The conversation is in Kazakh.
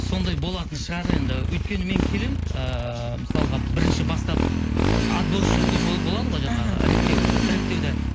сондай болатын шығар енді өйткені мен келемін ыыы мысалға бірінші бастап отборочный тур болады ғой жаңағы мхм іріктеу іріктеуде